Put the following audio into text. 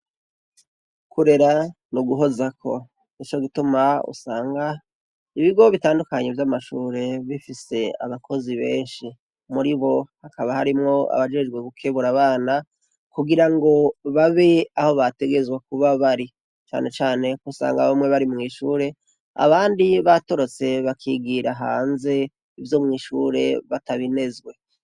Ukurera ni uguhozako. Nico gituma usanga ibigo bitandukanye vy'amashure bifise abakozi benshi. Muri bo hakaba harimwo abajejwe gukebura abana kugira ngo babe aho bategerezwa kuba bari. Cane cane aho usanga bamwe bari mw'ishure, abandi batorotse bakigira hanze, ivyo mw'ishure batabinezwe.